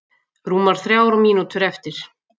Rúmar þrjár mínútur eftir